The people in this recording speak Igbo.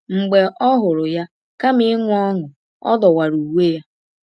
Mgbe ọ hụrụ ya, kama inwe ọṅụ, ọ dọwara uwe ya.